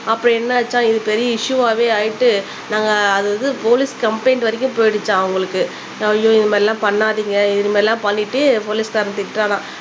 அப்புறம் என்ன ஆச்சாம் இது பெரிய இஷ்யூவாவே ஆயிட்டு நாங்க அது வந்து போலிஸ் கம்ப்லைன்ட் வரைக்கும் போய்டுச்சாம் அவங்களுக்கு ஐயோ இந்த மாதிரிலாம் பண்ணாதிங்க இது மாதிரிலாம் பண்ணிட்டு போலீஸ் காரன் திட்டுறானாம்